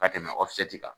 Ka tɛmɛ kan